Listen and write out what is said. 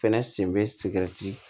Fɛnɛ sen bɛ